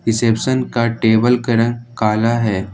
Reception का table का रंग काला है।